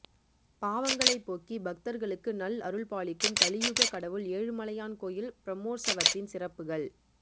பாவங்களை போக்கி பக்தர்களுக்கு நல் அருள்பாலிக்கும் கலியுக கடவுள் ஏழுமலையான் கோயில் பிரம்மோற்சவத்தின் சிறப்புகள்